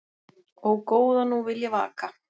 Ó, góða nú vil ég vaka